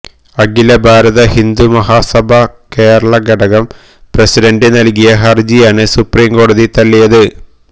അഖില ഭാരത ഹിന്ദു മഹാസഭാ കേരളം ഘടകം പ്രസിഡന്റ് നല്കിയ ഹര്ജിയാണ് സുപ്രീം കോടതി തള്ളിയത്